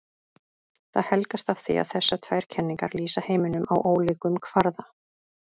Það helgast af því að þessar tvær kenningar lýsa heiminum á ólíkum kvarða.